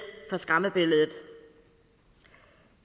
for skræmmebilledet